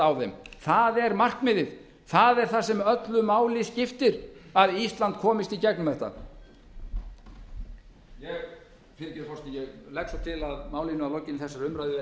þeim það er markmiðið það er það sem öllu máli skiptir að ísland komist í gegnum þetta virðulegi forseti ég legg svo til að málinu verði að lokinni þessari umræðu vísað til háttvirtrar fjárlaganefndar